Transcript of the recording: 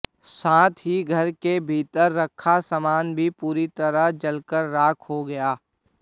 साथ ही घर के भीतर रखा सामान भी पूरी तरह से जलकर राख हो गया